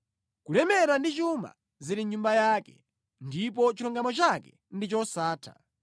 Kulemera ndi chuma zili mʼnyumba yake, ndipo chilungamo chake ndi chosatha.